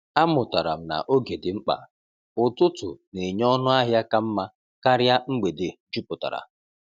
Amụtara m na oge dị mkpa; ụtụtụ na-enye ọnụ ahịa ka mma karịa mgbede jupụtara.